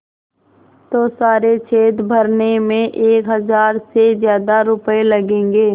तो सारे छेद भरने में एक हज़ार से ज़्यादा रुपये लगेंगे